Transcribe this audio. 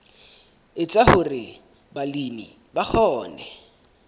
etsa hore balemi ba kgone